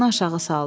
Başını aşağı saldı.